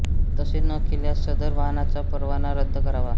तसे न केल्यास सदर वाहनाचा परवाना रद्द करावा